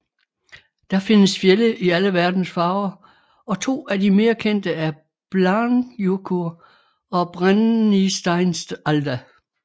Der findes fjelde i alle verdens farver og to af de mere kendte er Bláhnjúkur og Brennisteinsalda